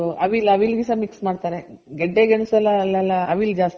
ಹಾ ಇದು ಅವಿಲ್ ಅವಿಲ್ ಸಹ mix ಮಾಡ್ತಾರೆ ಗೆಡ್ಡೆ ಗೆಣುಸು ಅಲೆಲ್ಲ ಅವಿಲ್ ಜಾಸ್ತಿ ಮಾಡ್ತಾರೆ.